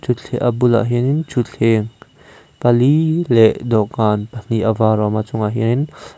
a bulah hianin thutthleng pali leh dawhkan pahnih a var a awm a chungah hianin--